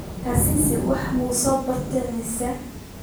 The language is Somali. Kasisi wuxu sobarte misa.